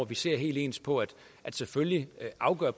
vi ser helt ens på selvfølgelig selv afgør